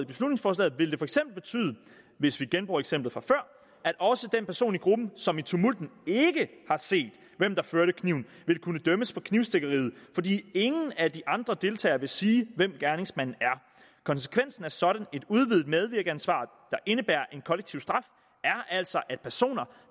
beslutningsforslaget vil det betyde hvis vi genbruger eksemplet fra før at også den person i gruppen som i tumulten ikke har set hvem der førte kniven vil kunne dømmes for knivstikkeriet fordi ingen af de andre deltagere vil sige hvem gerningsmanden er konsekvensen af sådan et udvidet medvirkensansvar der indebærer en kollektiv straf er altså at personer